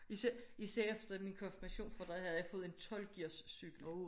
Især efter min konfirmation for der havde jeg fået en 12 gears cykel